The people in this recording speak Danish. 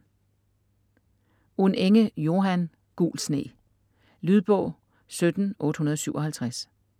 Unenge, Johan: Gul sne Lydbog 17857